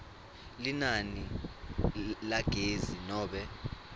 linani lagezi nobe